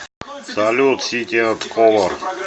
салют сити энд колор